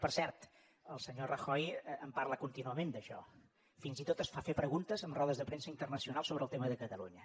per cert el senyor rajoy en parla contínuament d’això fins i tot es fa fer preguntes en rodes de premsa internacional sobre el tema de catalunya